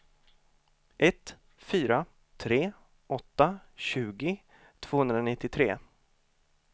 ett fyra tre åtta tjugo tvåhundranittiotre